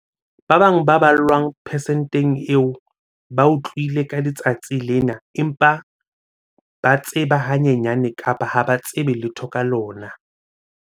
Ba bang ba ballwang persenteng eo ba utlwile ka letsatsi lena empa ba tseba hanyenyane kapa ha ba tsebe letho ka lona.